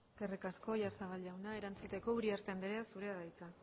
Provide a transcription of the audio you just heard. eskerrik asko oyarzabal jauna erantzuteko uriarte anderea zurea da hitza